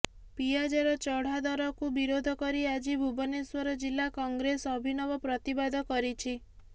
ପିଆଜର ଚଢାଦରକୁ ବିରୋଧ କରି ଆଜି ଭୁବନେଶ୍ବର ଜିଲ୍ଲା କଂଗ୍ରେସ ଅଭିନବ ପ୍ରତିବାଦ କରିଛି